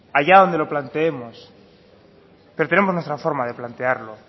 allá donde lo planteemos pero tenemos nuestra forma de plantearlo